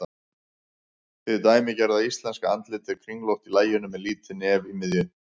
Hið dæmigerða íslenska andlit er kringlótt í laginu með lítið nef í miðju.